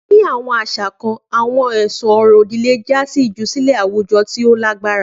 Ni awọn aṣa kan, awọn ẹsun ọrọ-odi le ja si ijusile awujọ ti o lagbara.